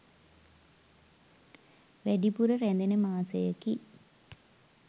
වැඩිපුර රැඳෙන මාසයකි.